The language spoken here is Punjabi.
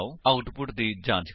ਆਉਟਪੁਟ ਦੀ ਜਾਂਚ ਕਰੋ